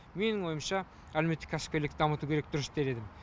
менің ойымша әлеуметтік кәсіпкерлікті дамыту керек дұрыс дер едім